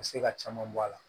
U bɛ se ka caman bɔ a la